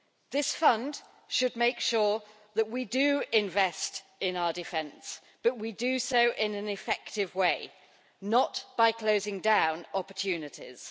This fund should make sure that we invest in our defence, but that we do so in an effective way not by closing down opportunities.